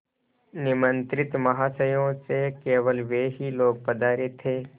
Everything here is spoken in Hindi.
निमंत्रित महाशयों में से केवल वे ही लोग पधारे थे